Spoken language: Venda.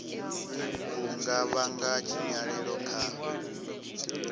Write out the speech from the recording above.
u nga vhanga tshinyalelo kha